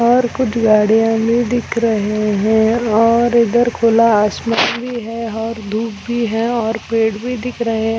और कुछ गाड़ियाँ भी दिख रहे है और इधर खुला आसमान भी है और धुप भी है और पेड़ भी दिख रहे--